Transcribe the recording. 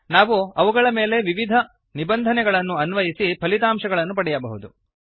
ನಾವು ಅವುಗಳ ಮೆಲೆ ವಿವಿಧ ನಿಬಂಧನೆಗಳನ್ನು ಅನ್ವಯಿಸಿ ಫಲಿತಾಂಶಗಳನ್ನು ಪಡೆಯಬಹುದು